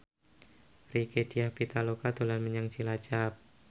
Rieke Diah Pitaloka dolan menyang Cilacap